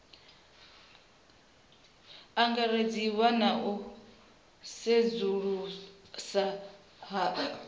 angaredziwa na u sedzulusa ha